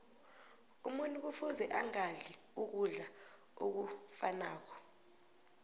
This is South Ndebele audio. umuntu kufuze angadli ukudla okufanako